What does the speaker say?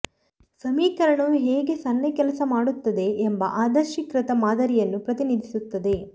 ಸಮೀಕರಣವು ಹೇಗೆ ಸನ್ನೆ ಕೆಲಸ ಮಾಡುತ್ತದೆ ಎಂಬ ಆದರ್ಶೀಕೃತ ಮಾದರಿಯನ್ನು ಪ್ರತಿನಿಧಿಸುತ್ತದೆ